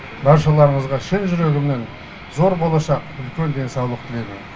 баршаларыңызға шын жүрегімнен зор болашақ үлкен денсаулық тілеймін